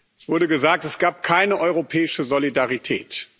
Es wurde gesagt, es gab keine europäische Solidarität.